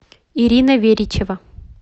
ирина веричева